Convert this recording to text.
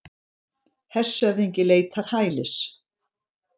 Hershöfðingi leitar hælis